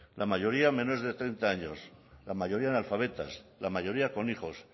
la mayoría menores de treinta años la mayoría analfabetas la mayoría con hijos